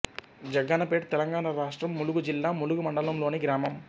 జగ్గన్నపేట్ తెలంగాణ రాష్ట్రం ములుగు జిల్లా ములుగు మండలంలోని గ్రామం